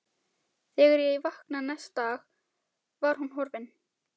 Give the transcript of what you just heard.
Þegar ég vaknaði næsta dag var hún horfin.